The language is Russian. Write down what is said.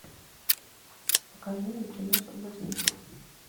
покажи мне кино соблазнитель